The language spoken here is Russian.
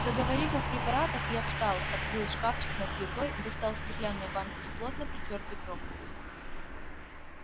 заговорив о в препаратах я встал открыл шкафчик над плитой достал стеклянную банку с плотно притёртой пробкой